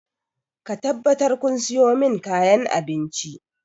Ku tabbatar kun sayo min kayan abinci!